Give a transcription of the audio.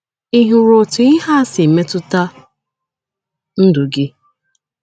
Ị hụrụ otú ihe a si metụta ndụ gị?